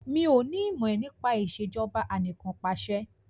Mi ò ní ìmọ̀ nípa Ìṣèjọba Anìkanpàṣẹ